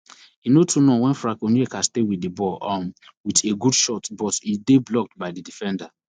e no too wen frank onyeka stay wit di ball um wit a good shot but e dey blocked by di defender